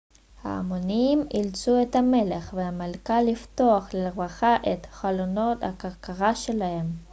ההמונים אילצו את המלך והמלכה לפתוח לרווחה את חלונות הכרכרה שלהם